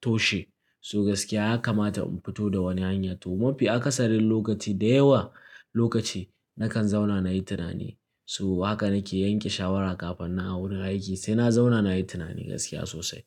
toshe. So gaskiya ya kamata in fito da wani hanya. To mafi akasarin lokaci, da yawa lokaci nakan zauna nayi tunani. So haka nake yanke shawara kafin nan awurin aiki sai na zauna nayi tunani gaskiya sosai.